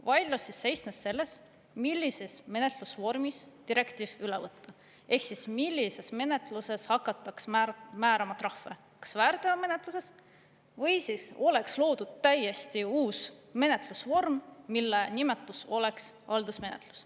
Vaidlus seisnes selles, millises menetlusvormis direktiiv üle võtta ehk siis millises menetluses hakataks määrama trahve, kas väärteomenetluses või siis oleks loodud täiesti uus menetlusvorm, mille nimetus oleks haldusmenetlus.